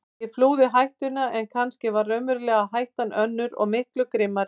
Ég flúði hættuna en kannski var raunverulega hættan önnur og miklu grimmari.